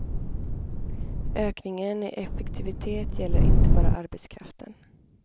Ökningen i effektivitet gäller inte bara arbetskraften.